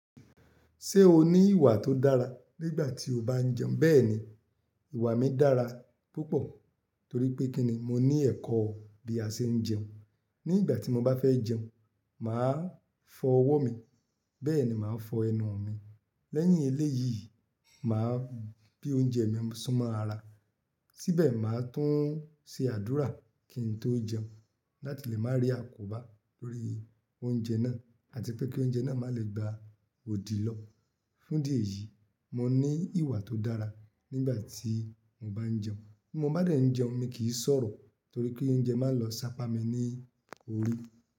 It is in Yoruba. Ṣé o ní ìwà tó dára nígbà tí o bá ń jẹun? Bẹ́ẹ̀ni, ìwà mi dára púpọ̀ torí pé kíni mo ní ẹ̀kọ́ bí a ṣe ń jẹun. Nígbà tí mo bá fẹ́ jẹun, màá fọ ọwọ́ mi, bẹ́ẹ̀ ni màá fọ ẹnu mi. Lẹ́yìn eléyìí, màá bí oúnjẹ mi súnmọ́ ara. Síbẹ̀ màá tún ṣe àdúrà kí n tó jẹun láti lè má rí àkóbá lórí oúnjẹ náà àti pé kí oúnjẹ náà má lè gba òdì lọ. Fún idí ẹ̀yìí, mo ní ìwà tó dára nígbà tí mo bá ń jẹun. Bí mo bá dẹ̀ ń jẹun mi kì í sọ̀rọ̀ torí pé oúnjẹ máa ń lọ sápa mi ní orí.